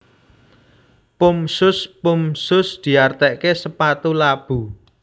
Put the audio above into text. Pump Shoes Pump shoes diartiké sepatu labu